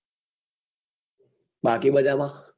બાકી બધા માં?